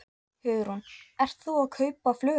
Hugrún: Ert þú að kaupa flugelda?